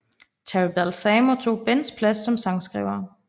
Terry Balsamo tog Bens plads som sangskriver